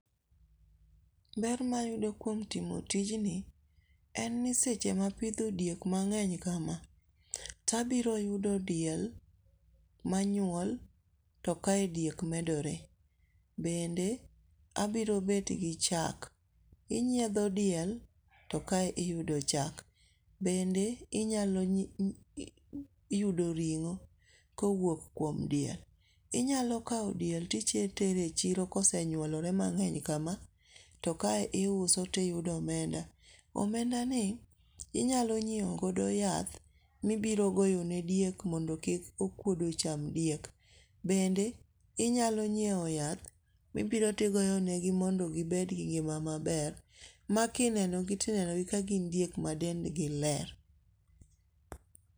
Ber ma ayudo kuom timo tijni, eni seche ma apitho diek mangeny kama, to abiro yudo diel manyuol to kae diek medore, bende abiro bet gi chak, inyietho diel to kae iyudo chak, bende inyalo yudo ring'o kowuok kuom diel , inyalo kawo diel titere e chiro kosenyuolore mang'eny kama to kae iuso tiyudo omenda, omendani inyalo nyiewogo yath mibiro goyonego diek mondo kik okuodo cham diek, bende inyalo nyiewo yath ma ibiro to igoyonegi mondo gibed gi ng'ima maber makinenogi to inenogi ka gin diek madendgi ler